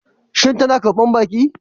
Shin tana karbar baki?